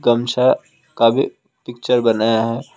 गमछा का भी पिक्चर बनाया है।